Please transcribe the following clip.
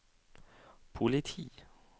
politi